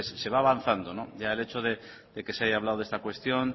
se va avanzado ya el hecho de que se haya hablado de esa cuestión